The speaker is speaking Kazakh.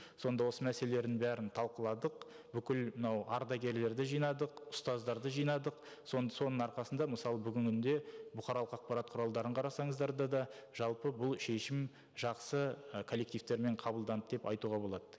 сонда осы мәселелерін бәрін талқыладық бүкіл мынау ардагерлерді жинадық ұстаздарды жинадық соның арқасында мысалы бүгінгі күнде бұқаралық қапарат құралдарын қарасаңыздар да да жалпы бұл шешім жақсы і коллективтермен қабылданды деп айтуға болады